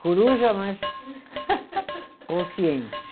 Coruja, mas consciente.